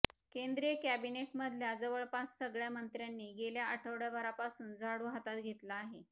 केंद्रीय कॅबिनेटमधल्या जवळपास सगळ्या मंत्र्यांनी गेल्या आठवड्याभरापासून झाडू हातात घेतला आहे